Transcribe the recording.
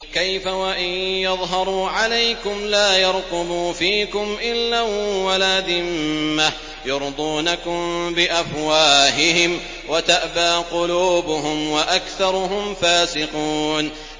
كَيْفَ وَإِن يَظْهَرُوا عَلَيْكُمْ لَا يَرْقُبُوا فِيكُمْ إِلًّا وَلَا ذِمَّةً ۚ يُرْضُونَكُم بِأَفْوَاهِهِمْ وَتَأْبَىٰ قُلُوبُهُمْ وَأَكْثَرُهُمْ فَاسِقُونَ